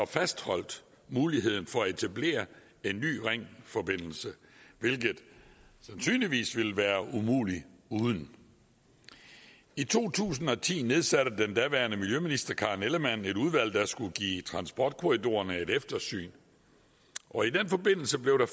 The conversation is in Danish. fastholdt muligheden for at etablere en ny ringforbindelse hvilket sandsynligvis ville være umuligt uden i to tusind og ti nedsatte den daværende miljøminister karen ellemann et udvalg der skulle give transportkorridorerne et eftersyn og i den forbindelse blev der